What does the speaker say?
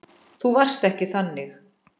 Þú varst ekki þannig.